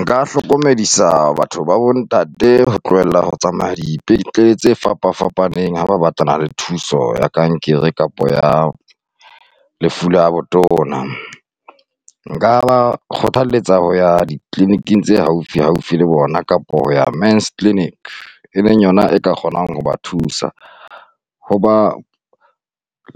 Nka hlokomedisa batho ba bontate ho tlohella ho tsamaya dipetlele tse fapafapaneng ha ba batlana le thuso ya kankere kapa ya lefu la botona. Nka ba kgothaletsa ho ya di-clinic-ng tse haufihaufi le bona kapa ho ya Men's Clinic, e leng yona e ka kgonang hoba thusa, hoba